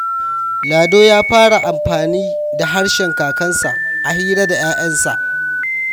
Lado ya fara amfani da harshen kakanninsa a hira da ‘ya’yansa.